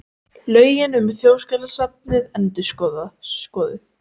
Lögin um Þjóðskjalasafnið endurskoðuð